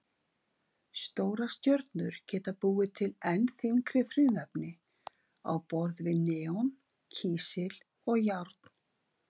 Stórar stjörnur geta búið til enn þyngri frumefni á borð við neon, kísil og járn.